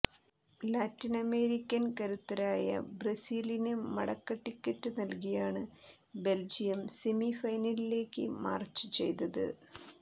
Latin American കരുത്തരായ ബ്രസീലിന് മടക്ക ടിക്കറ്റ് നൽകിയാണ് ബെൽജിയം സെമിഫൈനലിലേക്ക് മാർച്ച് ചെയ്തത്